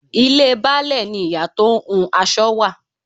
Ilé Baálẹ̀ ni ìyá tó ń hun aṣọ wà.